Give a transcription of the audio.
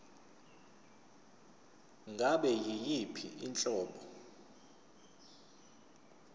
ngabe yiyiphi inhlobo